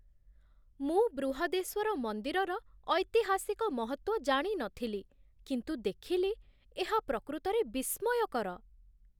ମୁଁ ବୃହଦେଶ୍ୱର ମନ୍ଦିରର ଐତିହାସିକ ମହତ୍ତ୍ୱ ଜାଣି ନଥିଲି, କିନ୍ତୁ ଦେଖିଲି ଏହା ପ୍ରକୃତରେ ବିସ୍ମୟକର।